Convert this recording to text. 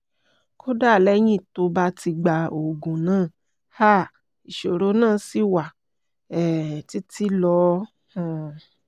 kódà lẹ́yìn tó bá ti gba oògùn náà um ìṣòro náà ṣì wà um títí lọ um